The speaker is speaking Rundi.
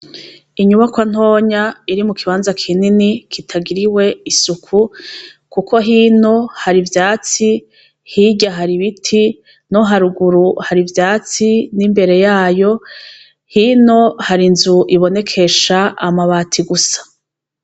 Inyubakoa ntonya iri mu kibanza kinini kitagiriwe isuku, kuko hino hari ivyatsi hirya hari ibiti no haruguru hari ivyatsi n'imbere yayo hino hari inzu ibonekesha amabati gusa.